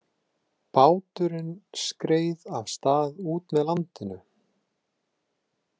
Báturinn skreið af stað út með landinu.